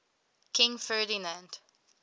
king ferdinand